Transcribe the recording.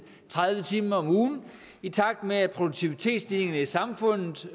tredive timer om ugen i takt med at produktivitetsstigningerne i samfundet